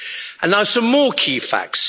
And now some more key facts.